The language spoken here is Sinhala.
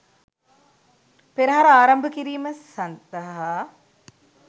පෙරහර ආරම්භ කිරීම සඳහා